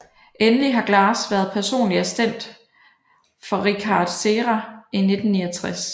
Endelig har Glass været personlig assistent for Richard Serra i 1969